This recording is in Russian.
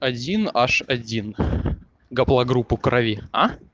один аш один гаплогруппу крови а